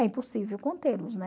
É impossível contê-los, né?